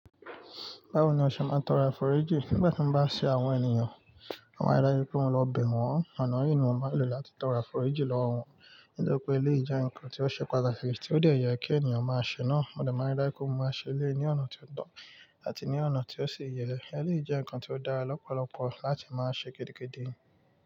Báwo ni o ṣe máa ń tọrọ àforíjì? Nígbà tí mo bá ṣe àwọn ènìyàn, wọn máa rí dájú pé mo lọ bẹ̀ wọ́n. Ọ̀nà yìí ni mo máa ń lò láti tọrọ àforíjì lọ́wọ́ wọn. Nítorí pé ilé ìjẹun nǹkan tí ó ṣe pàtàkì tí ó dẹ̀ yẹ kí ènìyàn máa ṣe náà. Modẹ̀ máa rí dájú pé mo máa ṣe ilé ní ọ̀nà tí ó tọ́àti ní ọ̀nà tí ó sì yẹ. Eléyìí jẹ́ nǹkan tí ó dára lọ́pọ̀lọpọ̀ láti máa ṣe kédekéde.